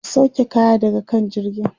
ku sauke kaya daga kan jirgin!